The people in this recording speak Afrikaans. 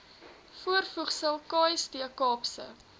voorvoegsel kst kaapse